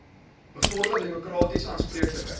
bevorder demokratiese aanspreeklikheid